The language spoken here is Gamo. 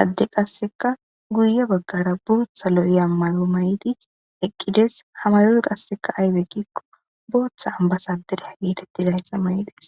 adde qasseka guye baggara buutha lo'iya mayo may'idi eqqides hamayoy qasseka aybekikko booththa ambasa dereya geetettidayssa may'ides